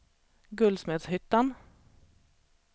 Guldsmedshyttan